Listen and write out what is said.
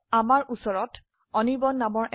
ধৰক আমাৰ আনিৰ্বাণ